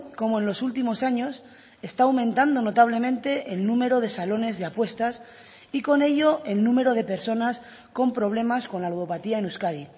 cómo en los últimos años está aumentando notablemente el número de salones de apuestas y con ello el número de personas con problemas con la ludopatía en euskadi